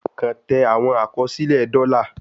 Kan tẹ awọn akọsilẹ dola